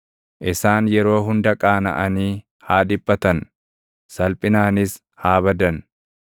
Isaan yeroo hunda qaanaʼanii haa dhiphatan; salphinaanis haa badan.